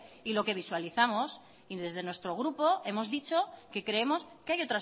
y lo que visualizamos y desde nuestro grupo hemos dicho que creemos que hay